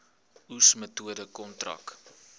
oes metode kontrak